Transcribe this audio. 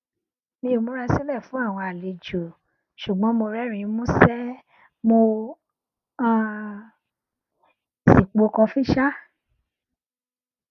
mi o mura silẹ fun awọn alejo sugbọn mo rẹrinin musẹ mo um si po kọfi ṣa